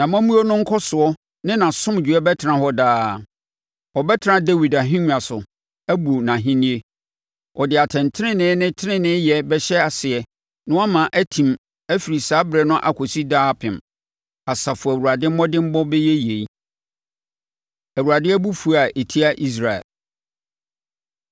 Nʼamammuo no nkɔsoɔ ne nʼasomdwoeɛ bɛtena hɔ daa. Ɔbɛtena Dawid ahennwa so abu nʼahennie, Ɔde atɛntenenee ne teneneeyɛ bɛhyɛ aseɛ na wama atim afiri saa ɛberɛ no akɔsi daa apem. Asafo Awurade mmɔdemmɔ bɛyɛ yei. Awurade Abufuo A Ɛtia Israel